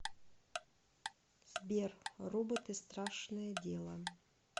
сбер роботы страшное дело